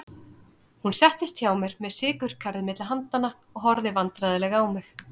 Hún settist hjá mér með sykurkarið milli handanna og horfði vandræðaleg á mig.